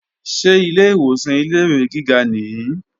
Ṣé ilé ìwòsàn ilé-ìwé gíga nìí?